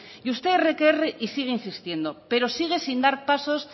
y usted erre que erre y sigue insistiendo pero sigue sin dar pasos